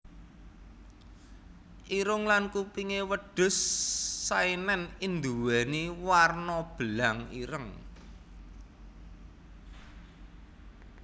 Irung lan kupingé wedhus Saenen nduwéni werna belang ireng